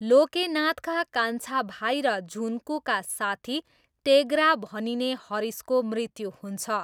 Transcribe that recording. लोकेनाथका कान्छा भाइ र झुन्कूका साथी टेग्रा भनिने हरिशको मृत्यु हुन्छ।